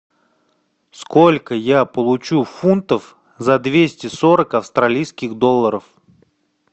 сколько я получу фунтов за двести сорок австралийских долларов